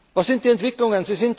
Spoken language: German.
Was sind die Entwicklungen?